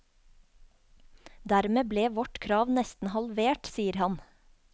Dermed ble vårt krav nesten halvert, sier han.